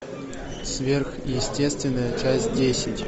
сверхъестественное часть десять